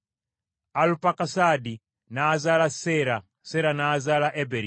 Alupakusaadi n’azaala Seera, Seera n’azaala Eberi.